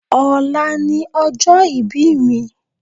Ọ̀la ni ọjọ́ ìbí mi